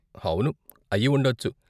అవును, అయ్యి ఉండచ్చు.